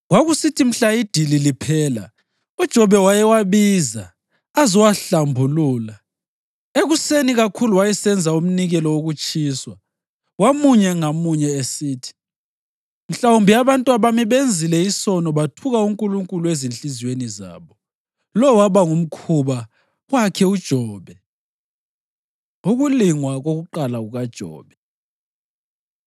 Kwakusithi mhla idili liphela, uJobe wayewabiza azowahlambulula. Ekuseni kakhulu wayesenza umnikelo wokutshiswa wamunye ngamunye esithi, “Mhlawumbe abantwabami benzile isono bathuka uNkulunkulu ezinhliziyweni zabo.” Lo waba ngumkhuba wakhe uJobe. Ukulingwa Kokuqala KukaJobe